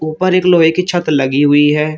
ऊपर एक लोहे की छत लगी हुई है।